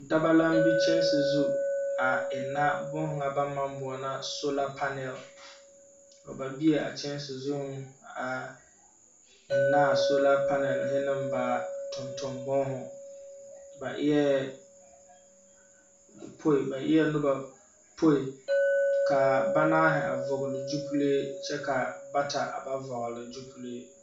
Dabaŋ la be kyanse zu a enna booho ŋa ba naŋ maŋ boɔla sola panɛl. Ba bieŋ a kyanse zuŋ a enna a sola panɛlhe ne ba tontombooho. Ba eɛɛ poi ba eɛɛ noba poikaa banaahe a vɔgle gyupelee kyɛ ka bata a ba vɔgle gyupelee.